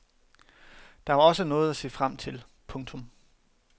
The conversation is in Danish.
Der var også noget at se frem til. punktum